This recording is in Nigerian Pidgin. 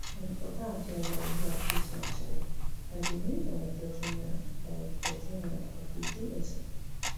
and oga adeola oluwatosin ajayi na di new director general director general of the dss